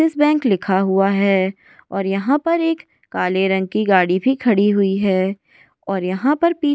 Yes Bank लिखा हुआ है और यहां पर एक काले रंग की गाड़ी भी खड़ी हुई है और यहां पर।